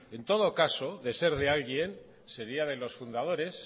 pues no en todo caso de ser de alguien seria de los fundadores